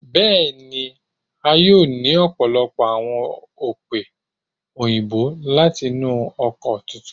Bẹẹni, a yoo ni ọpọlọpọ awọn ope oyinbo lati inu oko tuntun